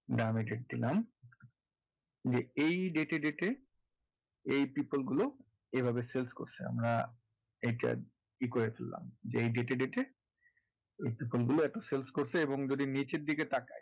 নাম এ date দিলাম যে এই date এ date এ এই people গুলো এ ভাবে sales করছে আমরা enter ই করে দিলাম যে এই date এ date এ এই people গুলো sales করছে এবং যদি নীচের দিকে তাকাই